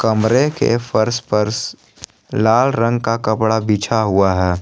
कमरे के फर्श पर लाल रंग का कपड़ा बिछा हुआ है।